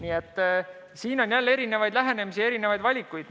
Aga siin on erinevaid lähenemisi ja erinevaid valikuid.